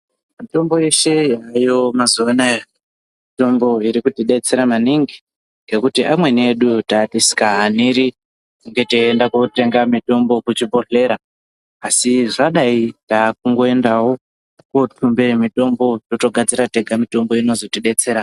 Mitombo yeshe yayo mazuwa anaya mitombo irikutidetsera maningi ngekuti amweni edu tatisikahaniri kunge teiende kotenga mitombo kuchibhedhleya asi zvadai takungoendawo kotumbe mutombo totogadzira tega mitombo inozotidetsera.